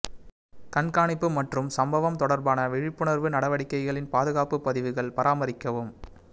கண்காணிப்பு மற்றும் சம்பவம் தொடர்பான விழிப்புணர்வு நடவடிக்கைகளின் பாதுகாப்பு பதிவுகள் பராமரிக்கவும்